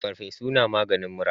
Farfesu na maganin mura